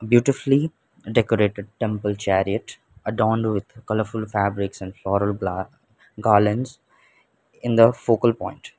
beautifully decorated temple chariot adorned with colourful fabrics and floral gla garlands in the focal point.